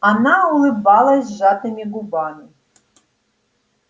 она улыбалась сжатыми губами